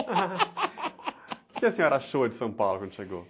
quê que a senhora achou de São Paulo quando chegou?